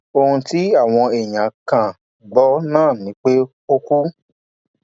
ohun tí àwọn èèyàn kan gbọ náà ni pé ó kú